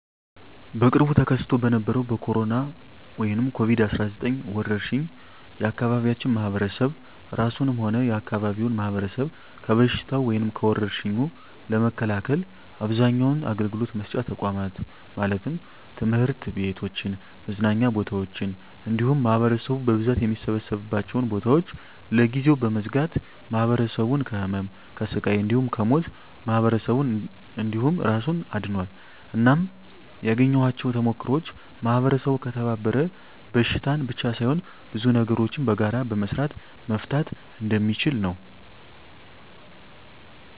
በቅርቡ ተከስቶ በነበረዉ በኮሮና(ኮቪድ 19) ወረርሽ የአካባቢያችን ማህበረሰብ እራሱንም ሆነ የአካባቢውን ማህበረሰብ ከበሽታዉ (ከወርሽኙ) ለመከላከል አብዛኛዉን አገልግሎት መስጫ ተቋማት(ትምህርት ቤቶችን፣ መዝናኛ ቦታወችን እንዲሁም ማህበረሰቡ በብዛት የሚሰበሰብባቸዉን ቦታወች) ለጊዜዉ በመዝጋት ማህበረሰቡን ከህመም፣ ከስቃይ እንዲሁም ከሞት ማህበረሰብን እንዲሁም እራሱን አድኗል። እናም ያገኘኋቸዉ ተሞክሮወች ማህበረሰቡ ከተባበረ በሽታን ብቻ ሳይሆን ብዙ ነገሮችን በጋራ በመስራት መፍታት እንደሚችል ነዉ።